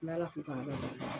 N' b'ala fo k'ala barika da